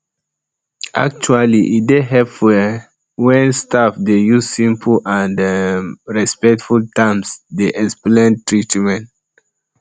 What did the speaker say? actually e dey helpful um um wen staff dey use simple and um respectful terms dey explain treatment